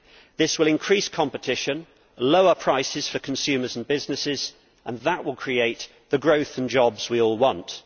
This will increase competition and lower prices for consumers and businesses, and that will create the growth and jobs we all want.